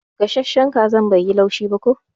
Gasashen kazan bai yi laushi ba ko.